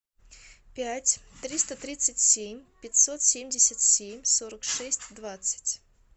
пять триста тридцать семь пятьсот семьдесят семь сорок шесть двадцать